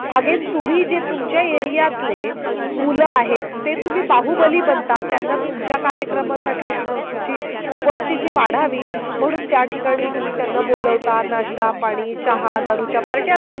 Again तुम्ही जे तुमच्या एरिआतले मुलं आहेत. ते तुम्ही बाहुबली बनतात. त्यांना तुमच्या कार्यक्रमासाठी उपस्थिती वाढावी म्हणून त्या ठिकाणी तुम्ही त्यांना बोलवता नाष्टा, पाणी, चहा, दारूच्या पार्ट्या देता.